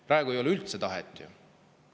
Praegu ei ole üldse tahet ju!